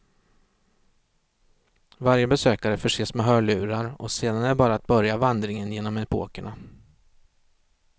Varje besökare förses med hörlurar och sedan är det bara att börja vandringen genom epokerna.